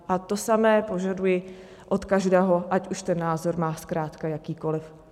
A to samé požaduji od každého, ať už ten názor má zkrátka jakýkoliv.